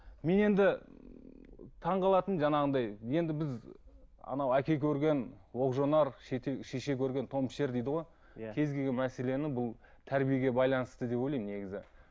мен енді таңғалатыным жаңағындай енді біз анау әке көрген оқ жанар шеше көрген тон пішер дейді ғой кез келген мәселені бұл тәрбиеге байланысты деп ойлаймын негізі